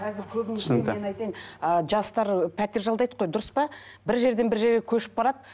мен айтайын ы жастар пәтер жалдайды ғой дұрыс па бір жерден бір жерге көшіп барады